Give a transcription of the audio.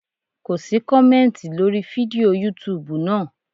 Ko sí kọ̀mẹ́ntì lórí fídíò yútubù náà.